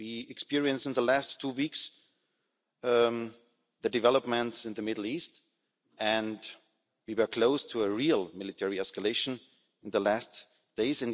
We experienced in the last two weeks, the developments in the Middle East and we were close to a real military escalation in the last days.